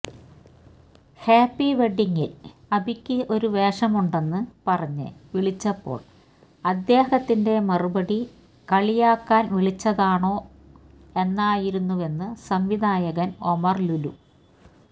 happy വെഡ്ഡിംഗില് അബിയ്ക്ക് ഒരു വേഷമുണ്ടെന്ന് പറഞ്ഞ് വിളിച്ചപ്പോള് അദ്ദേഹത്തിന്റെ മറുപടി കളിയാക്കാന് വിളിച്ചതാണോ എന്നായിരുന്നുവെന്ന് സംവിധായകൻ ഒമർ ലുലു